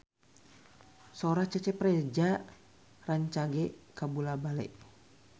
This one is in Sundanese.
Sora Cecep Reza rancage kabula-bale